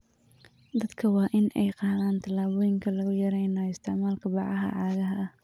Dadka waa in ay qaadaan tallaabooyin lagu yareynayo isticmaalka bacaha caagga ah.